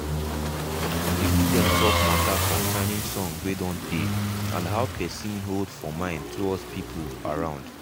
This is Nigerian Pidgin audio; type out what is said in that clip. my papa papa talk says wetin happen with um gbedu jam wey um he dey sing for us every morning.